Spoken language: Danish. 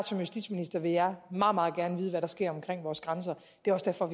som justitsminister vil jeg meget meget gerne vide hvad der sker omkring vores grænser det er også derfor